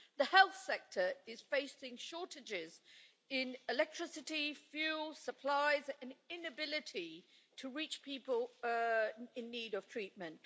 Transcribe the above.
The health sector is facing shortages in electricity, fuel, supplies and an inability to reach people in need of treatment.